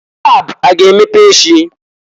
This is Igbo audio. Lab a ga-emepe echi?